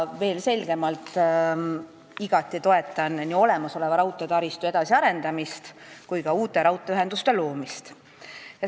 Veel selgemalt: ma toetan igati nii olemasoleva raudteetaristu edasiarendamist kui ka uute raudteeühenduste loomist.